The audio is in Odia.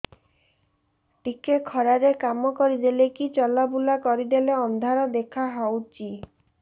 ଟିକେ ଖରା ରେ କାମ କରିଦେଲେ କି ଚଲବୁଲା କରିଦେଲେ ଅନ୍ଧାର ଦେଖା ହଉଚି